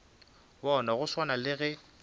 bona go swana le ge